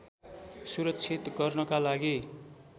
सुरक्षित गर्नका लागि